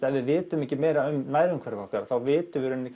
ef við vitum ekki meira um nærumhverfið okkar þá vitum við í rauninni